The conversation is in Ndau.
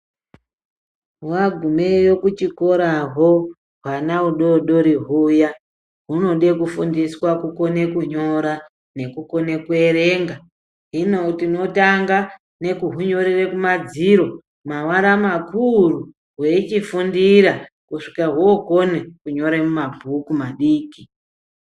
Magumeyo kuchikoraho hwana udodori huya hunode kufundiswa kukone kunyora nekukone kuverenga. Hino tinotanga nekuhunyorere kumadziro mavara makuru veichifundira kusvika vokone kunyore muma bhuku madiki.